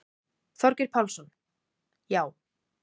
Þorgeir Pálsson: Já.